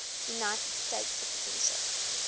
united states citizenship